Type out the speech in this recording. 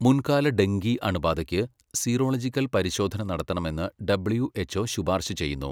മുൻകാല ഡെങ്കി അണുബാധയ്ക്ക് സീറോളജിക്കൽ പരിശോധന നടത്തണമെന്ന് ഡബ്ള്യു.എച്.ഒ. ശുപാർശ ചെയ്യുന്നു.